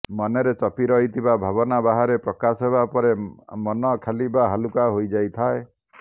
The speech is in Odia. ମନରେ ଚପି ରହିଥିବା ଭାବନା ବାହାରେ ପ୍ରକାଶ ହେବା ପରେ ମନ ଖାଲି ବା ହାଲୁକା ହୋଇଯାଇଥାଏ